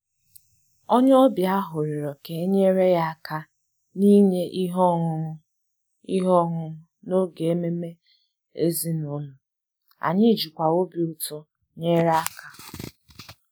Onye ọbịa ahụ rịọrọ ka e nyere ya aka n’inye ihe ọṅụṅụ ihe ọṅụṅụ n’oge ememe ezinụlọ, anyị jikwa obi ụtọ nyere aka